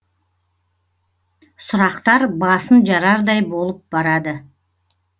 сұрақтар басын жарардай болып барады